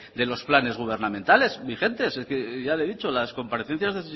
de los planes gubernamentales vigentes ya le he dicho las comparecencias